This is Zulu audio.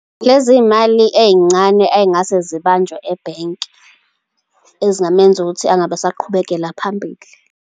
Lezi mali ey'ncane ey'ngase zibanjwe ebhenki, ezingamenza ukuthi angabe esaqhubekela phambili.